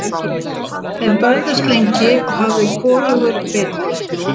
Þeir börðust lengi og hafði hvorugur betur.